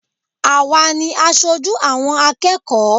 Àwa ni asojú àwọn akẹ́kọ̀ọ́